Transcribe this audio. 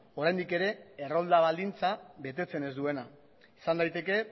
oraindik ere errolda baldintza betetzen ez duena izan daiteke